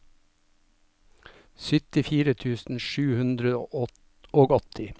syttifire tusen sju hundre og åtti